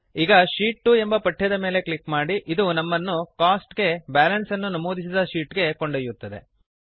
ಈಗ ಶೀಟ್ 2 ಎಂಬ ಪಠ್ಯದ ಮೇಲೆ ಕ್ಲಿಕ್ ಮಾಡಿ ಇದು ನಮ್ಮನ್ನು ಕೋಸ್ಟ್ಸ್ ಗೆ ಬ್ಯಾಲನ್ಸ್ ಅನ್ನು ನಮೂದಿಸಿದ ಶೀಟ್ ಗೆ ಒಯ್ಯುತ್ತದೆ